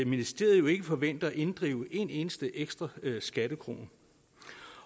ministeriet jo ikke forventer at inddrive en eneste ekstra skattekrone